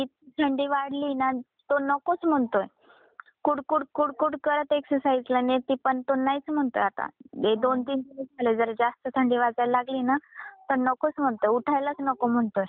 पण इतकी थंडी वाढलीये ना तो नकोच म्हणतोय कुड कुड कुड करत एक्सरसाईजला नेते पण तो नाहीच म्हणतोय आता हे दोन तीन दिवस झाले जरा जास्त थंडी वाजायला लागली ना तो नकोच म्हणतो उठायलाच नको म्हणतोय.